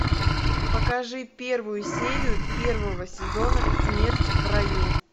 покажи первую серию первого сезона смерть в раю